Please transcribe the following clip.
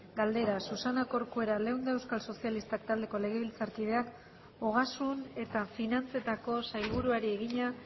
galdera susana corcuera leunda euskal sozialistak taldeko legebiltzarkideak ogasun eta finantzetako sailburuari egina